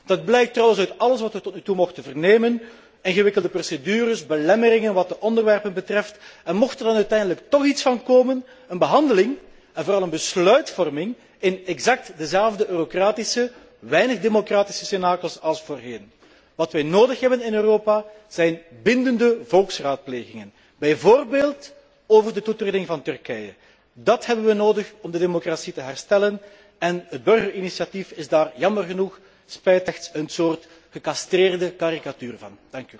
Dat blijkt trouwens uit alles wat we tot nu toe mochten vernemen ingewikkelde procedures, belemmeringen wat de onderwerpen betreft, en mocht er dan uiteindelijk toch iets van komen, dan is er een behandeling en vooral een besluitvorming in exact dezelfde eurocratische, weinig democratische cenakels als voorheen. Wat wij nodig hebben in Europa zijn bindende volksraadplegingen, bijvoorbeeld over de toetreding van Turkije. Dat hebben we nodig om de democratie te herstellen en het burgerinitiatief is daar jammer genoeg slechts een soort gecastreerde karikatuur van.